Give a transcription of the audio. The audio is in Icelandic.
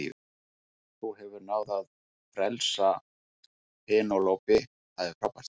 Þú hefur náð að frelsa Penélope, það er frábært.